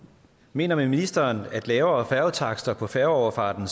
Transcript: mener ministeren at lavere færgetakster på færgeoverfarten